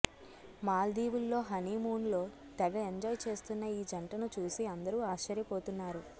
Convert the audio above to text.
మాల్దీవుల్లో హనీమూన్లో తెగ ఎంజాయ్ చేస్తున్న ఈ జంటను చూసి అందరూ ఆశ్యర్యపోతున్నారు